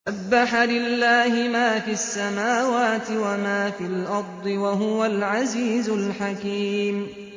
سَبَّحَ لِلَّهِ مَا فِي السَّمَاوَاتِ وَمَا فِي الْأَرْضِ ۖ وَهُوَ الْعَزِيزُ الْحَكِيمُ